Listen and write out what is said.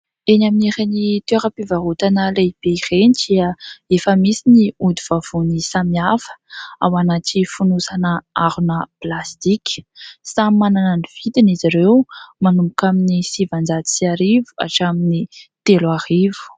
Eny amin'ireny toeram-pivarotana lehibe ireny dia efa misy ny ody vavony samihafa ao anaty fonosana harona plastika. Samy manana ny vidiny izy ireo : manomboka amin'ny sivinjato sy arivo hatramin'ny telo arivo.